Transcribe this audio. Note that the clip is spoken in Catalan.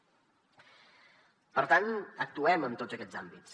per tant actuem en tots aquests àmbits